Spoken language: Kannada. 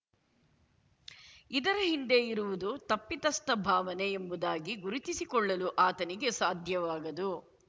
ಇದರ ಹಿಂದೆ ಇರುವುದು ತಪ್ಪಿತಸ್ಥ ಭಾವನೆ ಎಂಬುದಾಗಿ ಗುರುತಿಸಿಕೊಳ್ಳಲು ಆತನಿಗೆ ಸಾಧ್ಯವಾಗದು